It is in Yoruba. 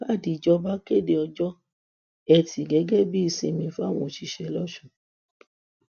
káàdì ìjọba kéde ọjọ etí gẹgẹ bíi ìsinmi fáwọn òṣìṣẹ lọsùn